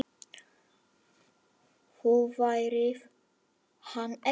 Þú færð hann ekki.